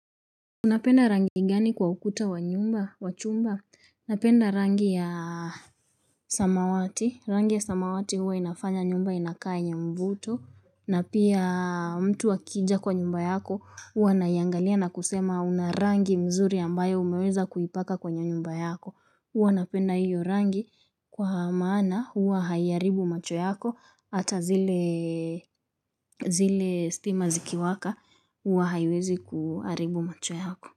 Unapenda rangi gani kwa ukuta wa nyumba, wa chumba? Unapenda rangi ya samawati. Rangi ya samawati huwa inafanya nyumba, inakaa yenye mvuto. Na pia mtu akija kwa nyumba yako, huwa ana iangalia na kusema unarangi mzuri ambayo umeweza kuipaka kwenye nyumba yako. Huwa napenda hiyo rangi kwa maana huwa haiharibu macho yako. Hata zile stima zikiwaka huwa haiwezi kuharibu macho yako.